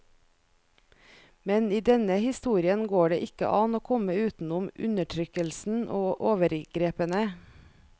Men i denne historien går det ikke an å komme utenom undertrykkelsen og overgrepene.